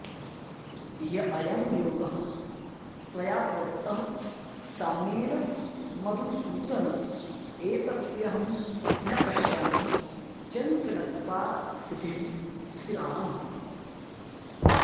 य अयं योगः त्वया प्रोक्तः साम्येन मधुसूदन एतस्यहं न पश्यामि चञ्चलत्वात्स्थितिं स्थिराम्